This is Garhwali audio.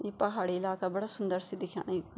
ये पहाड़ी इलाका बड़ा सुन्दर सी दिख्येणा इखमा।